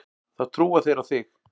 Þá trúa þeir á þig.